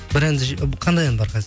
бір әнді қандай ән бар